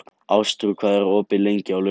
Ástrún, hvað er opið lengi á laugardaginn?